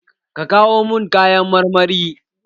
Ka kawo mun kayan marmari?